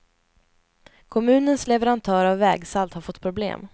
Kommunens leverantör av vägsalt har fått problem.